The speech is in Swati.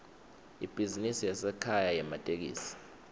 ibhizinisi yasekhaya yematekisi